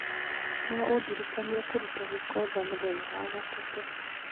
No ũndirikanie kũruta gĩko nja mũthenya wa gatatũ